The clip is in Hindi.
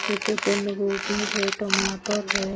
जैसे बंद गोभी है टमाटर है।